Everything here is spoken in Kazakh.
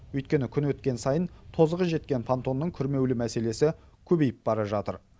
өйткені күн өткен сайын тозығы жеткен понтонның күрмеулі мәселесі көбейіп бара жатыр